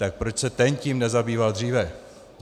Tak proč se ten tím nezabýval dříve?